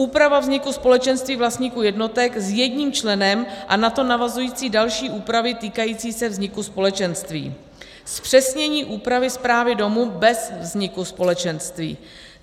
úpravu vzniku společenství vlastníků jednotek s jedním členem a na to navazující další úpravy týkající se vzniku společenství; zpřesnění úpravy správy domu bez vzniku společenství;